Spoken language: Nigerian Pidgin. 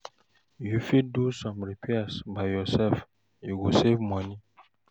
If you fit do some repair by yourself, you go save money